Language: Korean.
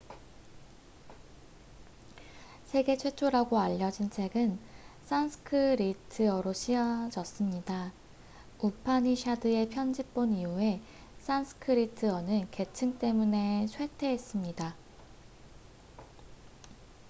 세계 최초라고 알려진 책은 산스크리트어로 쓰여졌습니다 우파니샤드의 편집본 이후에 산스크리트어는 계층 때문에 쇠퇴했습니다